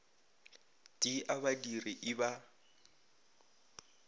t a badiri i ba